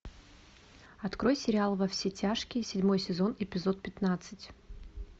открой сериал во все тяжкие седьмой сезон эпизод пятнадцать